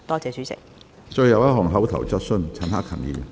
最後一項口頭質詢。